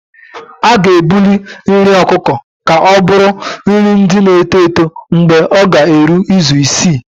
A ga-ebuli nri ọkụkọ ka ọ bụrụ nri ndị na-eto eto mgbe ọ ga-eru izu isii